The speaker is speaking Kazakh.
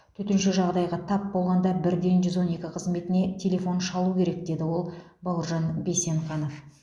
төтенше жағдайға тап болғанда бірден жүз он екі қызметіне телефон шалу керек деді ол бауыржан бейсенқанов